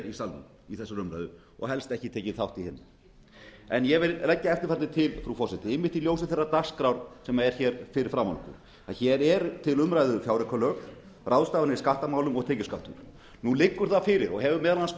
í salnum í þessari umræðu og helst ekki tekið þátt í henni en ég vil leggja eftirfarandi til frú forseti í ljósi þeirrar dagskrár sem er fyrir framan okkur hér eru til umræðu fjáraukalög ráðstafanir í skattamálum og tekjuskattur nú liggur það fyrir og hefur meðal annars